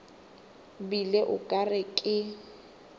bile o ka re ke